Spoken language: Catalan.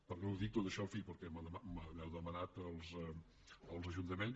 per què ho dic tot això en fi perquè m’heu demanat els ajuntaments